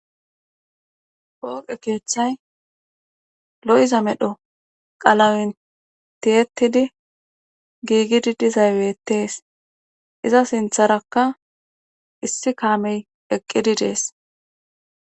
Pooqe keethay lo7iza medho qalawentiyettidi giigidi dizaybettees iza sintharakka issi kaamey eqqidi dees